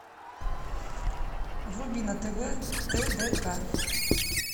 вруби на тв тдк